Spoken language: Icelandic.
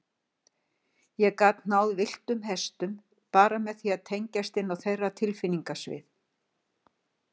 Ég gat náð villtum hestum, bara með því að tengjast inn á þeirra tilfinningasvið.